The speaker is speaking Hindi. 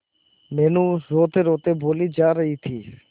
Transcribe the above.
मीनू रोतेरोते बोली जा रही थी